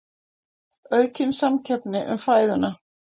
Aukin samkeppni um fæðuna